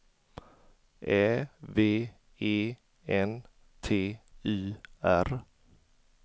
Ä V E N T Y R